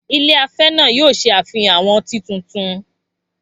Ilé afẹ́ náà yóò ṣe àfihàn àwọn ọtí tuntun